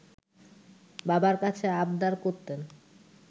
বাবার কাছে আবদার করতেন